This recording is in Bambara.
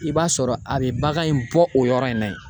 I b'a sɔrɔ a bɛ bagan in bɔ o yɔrɔ in na yen.